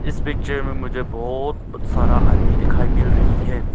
इस पिक्चर मे मुझे बहोत सारा आदमी दिखाई मिल रही है।